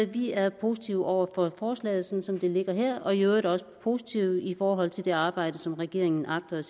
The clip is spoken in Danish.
vi er positive over for forslaget som det ligger her og i øvrigt også positive i forhold til det arbejde som regeringen agter